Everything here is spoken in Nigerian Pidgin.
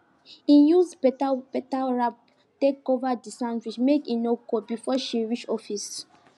e use better better wrap take cover the sandwich make e no cold before she reach office